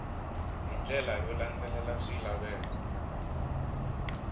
hi ndlela yo landzelela swilaveko